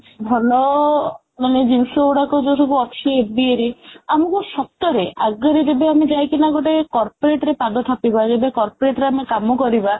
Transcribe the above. ଭଲ ମାନେ ଯୋଉ ଜିନିଷ ଗୁଡାକ ଯୋଉ ସବୁ ଅଛି MBA ରେ ଆମକୁ ସତରେ ଆଗରୁ ଆମେ ଯେବେ ଯାଇ କିନା ଗୋଟେ corporate ରେ ପାଦ ଥାପିବା ଯେବେ corporate ରେ କାମ କରିବା